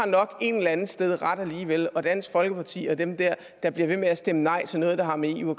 nok et eller andet sted har ret alligevel og at dansk folkeparti og dem der der bliver ved med at stemme nej til noget der har med eu